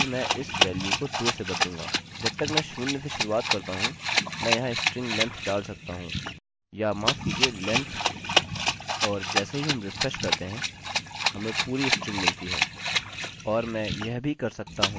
जब तक मैं शून्य से शुरुआत करता हूँ मैं यहाँ स्ट्रिंग लेन्थ डाल सकता हूँ या माफ़ कीजिए लेन्थ और जैसे ही हम रिफ्रेश करते हैं हमें पूरी स्ट्रिंग मिलती है